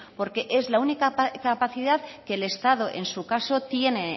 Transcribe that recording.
porque es la única capacidad que el estado en su caso tiene